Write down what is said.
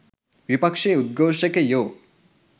විපක්ෂයේ උද්ඝෝෂකයෝ